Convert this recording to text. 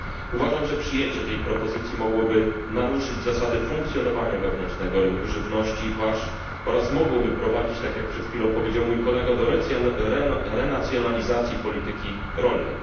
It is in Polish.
Uważam, że przyjęcie tego wniosku mogłoby naruszyć zasady funkcjonowania wewnętrznego rynku żywności i pasz oraz mogłoby prowadzić, tak jak przed chwilą powiedział mój kolega, do renacjonalizacji polityki rolnej.